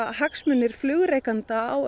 hagsmunir flugrekenda á